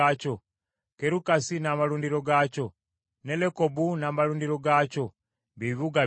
Kerukasi n’amalundiro gaakyo, ne Lekobu n’amalundiro gaakyo, bye bibuga bina.